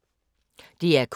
DR K